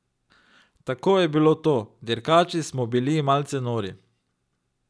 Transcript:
Tako je bilo to, dirkači smo bili malce nori.